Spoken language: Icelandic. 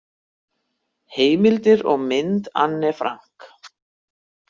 Heimildir og mynd Anne Frank.